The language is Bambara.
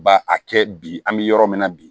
Ba a kɛ bi an bɛ yɔrɔ min na bi